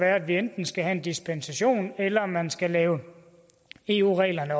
at vi enten skal have en dispensation eller at man skal lave eu reglerne